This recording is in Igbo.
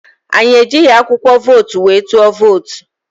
Anyị ejighi akwụkwọ vootu wee tụọ vootu